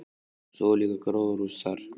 Og svo er líka gróðurhús þar.